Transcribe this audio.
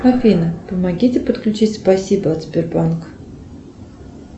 афина помогите подключить спасибо от сбербанка